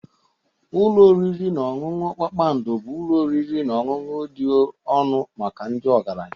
Ụlọ oriri na ọṅụṅụ kpakpando bụ ụlọ oriri na ọṅụṅụ dị ọnụ maka ndị ọgaranya.